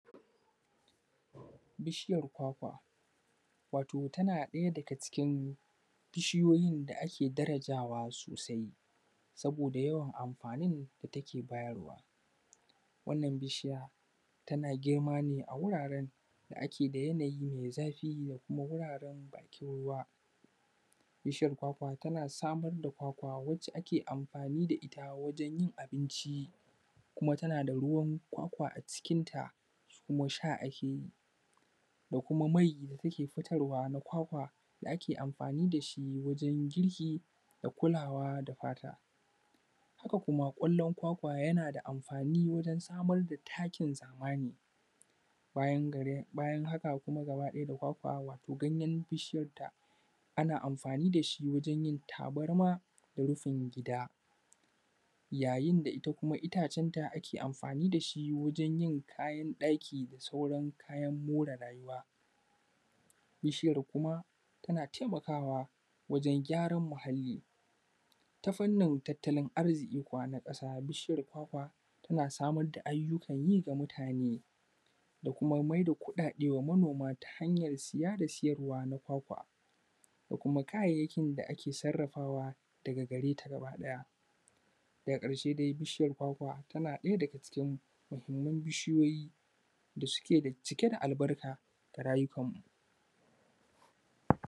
Bishiyar kwakwa wata tana daya daga cikin bishiyoyin da ake darajawa sosai. Saboda yawan amfanin da take bayarwa. Wannan bishiya tana girma ne a wuraren da ake da yanayi na zafi da kuma wuraren da ake ruwa. Bishiya kwakwa tana samar da kwakwa wacce ke amfani da ita wajen yin abinci kuma tana da ruwan kwakwa a cikinta kuma sha ake yi da kuma mai da take fitarwa na kwakwa da ake amfani da shi wajen girki da kulawa da fata. Haka kuma kwallin kwakwa yana da amfani wajen samar da takin zamani. Bayan haka kuma da ganyen bishiyar ta ana amfani da shi wajen yin tabarma da rufin gida yayin da kuma ita itacenta ake amfani da shi wajen yi kayan ɗaki da sauran kayan more rayuwa. Bishiyar kuma tana taimakawa wajen gyaran muhalli. Ta fanni tattalin arziki kuwa na ƙasa bishiyar kwakwa tana samar da ayyukan yi ga mutane da kuma maida kuɗaɗen manoma ta hanyar saya da sayarwa na kwakwa da kuma kayayyakin da ake sarrafawa daga gareta gaba ɗaya. Daga ƙarshe dai bishiyar kwakwa tana ɗaya daga cikin muhimman bishiyoyi da ke cike da albarka ga rayukanmu.